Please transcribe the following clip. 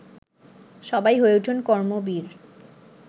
সবাই হয়ে উঠুন কর্মবীর